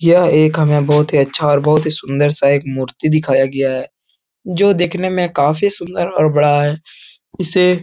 यह एक हमें बहोत ही अच्छा और बहोत ही सुंदर सा एक मूर्ति दिखाया गया है। जो देखने में काफी सुंदर और बड़ा है। इसे --